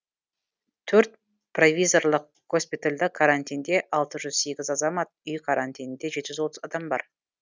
төрт провизорлық госпитальда карантинде алты жүз сегіз азамат үй карантинінде жеті жүз отыз адам бар